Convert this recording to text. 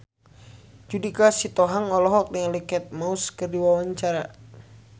Judika Sitohang olohok ningali Kate Moss keur diwawancara